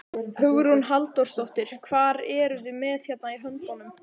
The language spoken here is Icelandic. Hugrún Halldórsdóttir: Hvað eruð þið með hérna í höndunum?